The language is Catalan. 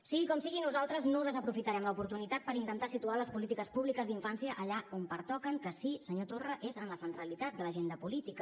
sigui com sigui nosaltres no desaprofitarem l’oportunitat per intentar situar les polítiques públiques d’infància allà on pertoquen que sí senyor torra és en la centralitat de l’agenda política